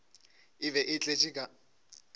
e be e tletše ka